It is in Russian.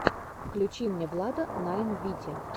включи мне влада найн вити